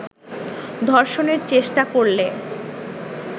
ধর্ষণের চেষ্টা করলে